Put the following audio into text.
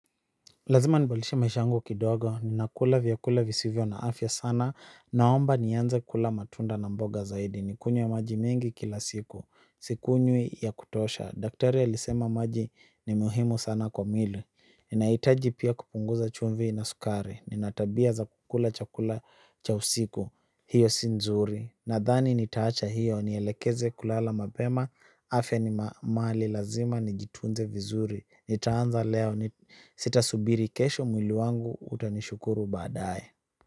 Lazima nibadilishe maisha yangu kidogo, ninakula vyakula visivyo na afya sana, naomba nianze kula matunda na mboga zaidi, nikunywe maji mingi kila siku, sikunywi ya kutosha. Daktari alisema maji ni muhimu sana kwa mwili, ninaitaji pia kupunguza chumvi na sukari, nina tabia za kukula chakula cha usiku, hiyo si nzuri. Nadhani nitaacha hiyo nielekeze kulala mapema. Afya ni mali lazima nijitunze vizuri. Nitaanza leo sitasubiri kesho mwili wangu utanishukuru baadae.